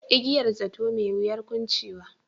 Igiyar zato, mai wuyar kuncewa.